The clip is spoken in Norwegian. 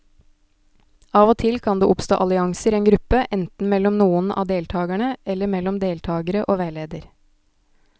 Av og til kan det oppstå allianser i en gruppe, enten mellom noen av deltakerne eller mellom deltakere og veileder.